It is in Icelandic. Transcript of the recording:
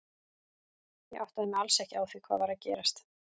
Ég áttaði mig alls ekki á því hvað var að gerast.